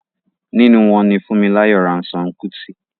nínú wọn ni Funmilayo Ransome Kuti.